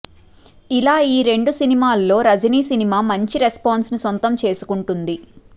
ఇలా ఈ రెండు సినిమాల్లో రజిని సినిమా మంచి రెస్పాన్స్ ని సొంతం చేసుకుంటుంది